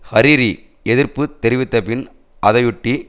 Hariri எதிர்ப்பு தெரிவித்த பின் அதையொட்டி